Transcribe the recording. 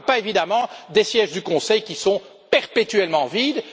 Je ne parle pas, évidemment, des sièges du Conseil qui sont perpétuellement vides.